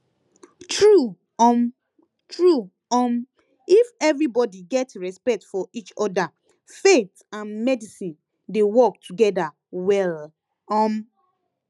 true um true um if everybody get respect for each other faith and medicine dey work together well um